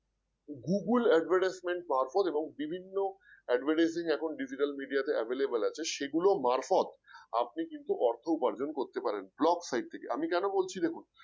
Google Advertisement power পদ এখন বিভিন্ন advertising এখন Digital Media তে Available আছে সেগুলো মারফত আপনি কিন্তু অর্থ উপার্জন করতে পারেন Blog site থেকে আমি কেন বলছি দেখুন